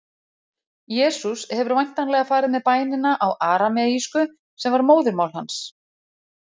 Jesús hefur væntanlega farið með bænina á arameísku, sem var móðurmál hans.